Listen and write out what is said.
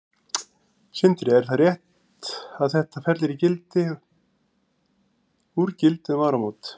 Sindri: Er það rétt að þetta fellur í gildi úr gildi um áramót?